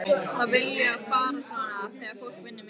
Það vill fara svona þegar fólk vinnur mikið.